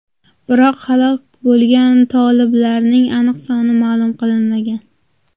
Biroq halok bo‘lgan toliblarning aniq soni ma’lum qilinmagan.